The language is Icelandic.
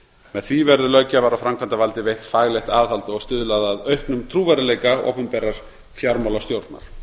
með því verður löggjafar og framkvæmdarvaldi veitt faglegt aðhald og stuðlað að auknum trúverðugleika opinberrar fjármálastjórnar